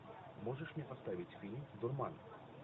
можешь мне поставить фильм дурман